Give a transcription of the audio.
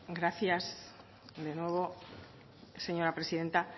gracias de nuevo señora presidenta